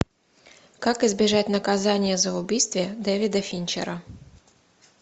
как избежать наказания за убийство дэвида финчера